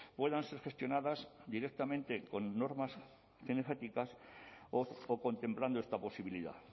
puedan ser gestionadas directamente con normas cinegéticas o contemplando esta posibilidad